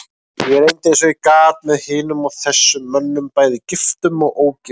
Ég reyndi eins og ég gat, með hinum og þessum mönnum, bæði giftum og ógiftum.